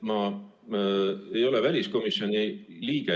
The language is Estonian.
Ma ei ole enam väliskomisjoni liige.